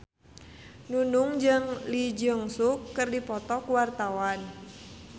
Nunung jeung Lee Jeong Suk keur dipoto ku wartawan